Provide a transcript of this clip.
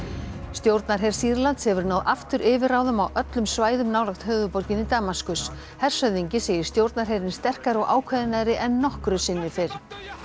stjórnarher Sýrlands hefur náð aftur yfirráðum á öllum svæðum nálægt höfuðborginni Damaskus hershöfðingi segir stjórnarherinn sterkari og ákveðnari en nokkru sinni fyrr